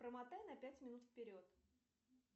промотай на пять минут вперед